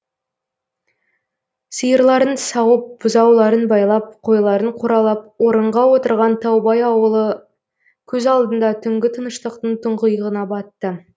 сиырларын сауып бұзауларын байлап қойларын қоралап орынға отырған таубай ауылы көз алдында түнгі тыныштықтың тұңғиығына батты